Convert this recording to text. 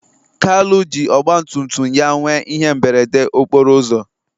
kalu jiri Ọgbatumtum ya nwee ihe mberede okporo ụzọ